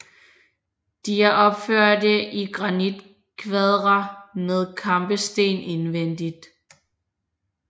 De er opførte i granitkvadre med kampesten indvendigt